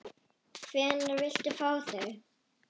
Hvenær viltu fá þau?